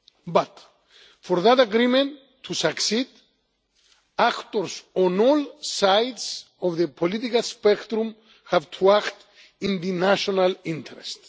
But for that agreement to succeed, actors on all sides of the political spectrum have to act in the national interest.